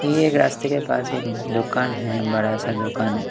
ये एक रास्ते के पास एक दुकान है बड़ा सा दुकान--